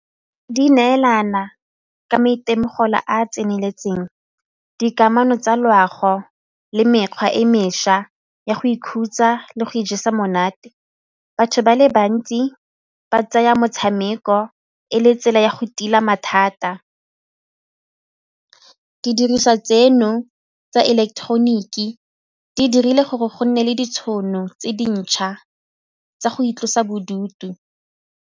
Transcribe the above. Di neelana ka maitemogolo a a tseneletseng, dikamano tsa loago le mekgwa e mešwa ya go ikhutsa le go ijesa monate. Batho ba le bantsi ba tsaya motshameko ko e le tsela ya go tila mathata, didiriswa tseno tsa ileketeroniki di dirile gore go nne le ditšhono tse dintšha tsa go itlosa bodutu.